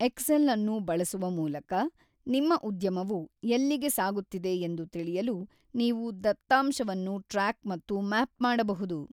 Excel ಅನ್ನು ಬಳಸುವ ಮೂಲಕ, ನಿಮ್ಮ ಉದ್ಯಮವು ಎಲ್ಲಿಗೆ ಸಾಗುತ್ತಿದೆ ಎಂದು ತಿಳಿಯಲು ನೀವು ದತ್ತಾಂಶವನ್ನು ಟ್ರ್ಯಾಕ್ ಮತ್ತು ಮ್ಯಾಪ್ ಮಾಡಬಹುದು.